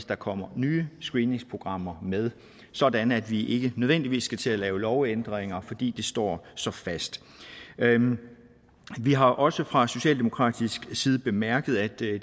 der kommer nye screeningsprogrammer med sådan at vi ikke nødvendigvis skal til at lave lovændringer fordi det står så fast vi har også fra socialdemokratisk side bemærket at det